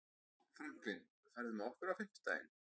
Franklin, ferð þú með okkur á fimmtudaginn?